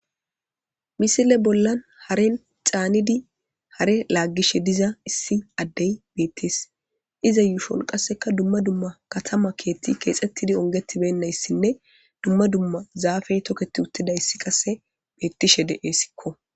Misile bolla haren canidi hare lagishe diza issi addey beetes iza yushon qaseka duma duma katama kethati keexetidi wuribeynas guma duma zafey toketi uttidays qase betishe de'esiko